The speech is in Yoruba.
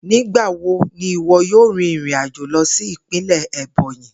Nigbawo ni iwọ yoo rin irin ajo lọ si ipinlẹ Ebonyi?